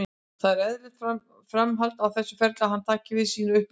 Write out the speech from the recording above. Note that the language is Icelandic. Þetta er eðlilegt framhald á hans ferli að hann taki við sínu uppeldisfélagi.